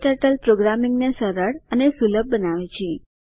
ક્ટર્ટલ પ્રોગ્રામિંગને સરળ અને સુલભ બનાવે છે